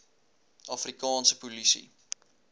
afri kaanse polisie